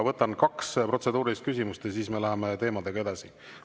Võtan kaks protseduurilist küsimust ja siis me läheme teemadega edasi.